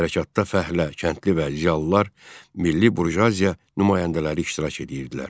Hərəkatda fəhlə, kəndli və ziyalılar milli burjuaziya nümayəndələri iştirak edirdilər.